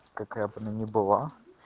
какая бы она ни была